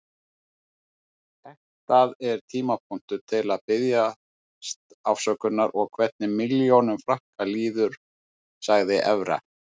Þetta er tímapunktur til að biðjast afsökunar og hvernig milljónum Frakka líður, sagði Evra.